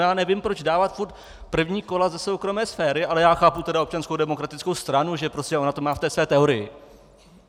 Já nevím, proč dávat stále první kola ze soukromé sféry, ale já chápu tedy Občanskou demokratickou stranu, že prostě ona to má v té své teorii.